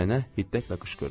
Nənə hiddətlə qışqırdı.